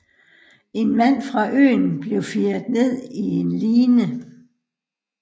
En mand fra øen blev firet ned i line